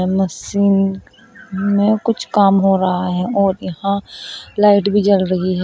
Machine में कुछ काम हो रहा है और यहां लाइट भी जल रही है।